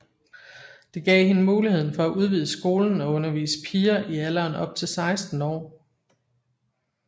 Det gav hende mulighed for at udvide skolen og undervise piger i alderen op til 16 år